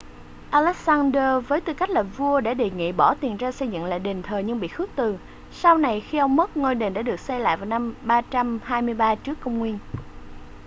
alexander với tư cách là vua đã đề nghị bỏ tiền ra xây dựng lại đền thờ nhưng bị khước từ sau này khi ông mất ngôi đền đã được xây lại vào năm 323 trước công nguyên